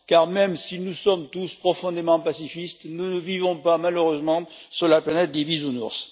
Même si nous sommes tous profondément pacifistes, nous ne vivons malheureusement pas sur la planète des bisounours.